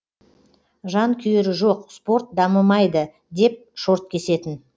жанкүйері жоқ спорт дамымайды деп шорт кесетін